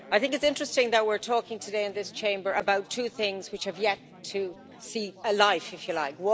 I think it's interesting that we're talking today in this Chamber about two things which have yet to see a life, if you like.